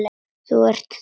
Þú ert þá.?